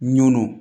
Nun